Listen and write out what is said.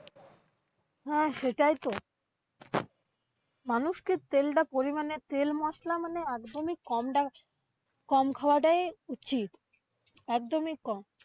হ্যাঁ সেটাই তো। মানুষকে তেলডা পরিমাণে তেল মশলা মানে একদমি কমডা কম খওয়াডাই উচিত, একদমি কম।